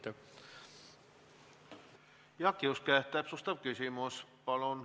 Jaak Juske, täpsustav küsimus, palun!